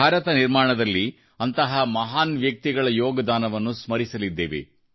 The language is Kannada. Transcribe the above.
ಭಾರತ ನಿರ್ಮಾಣದಲ್ಲಿ ಅಂತಹ ಮಹಾನ್ ವ್ಯಕ್ತಿಗಳ ಯೋಗದಾನವನ್ನು ನಾವು ಸ್ಮರಿಸಲಿದ್ದೇವೆ